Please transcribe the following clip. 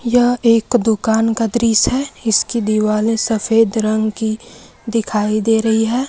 यह एक दुकान का दृश्य है इसकी दिवाले सफेद रंग की दिखाई दे रही है।